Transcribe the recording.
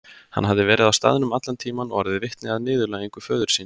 Hann hafði verið á staðnum allan tíman og orðið vitni að niðurlægingu föður síns.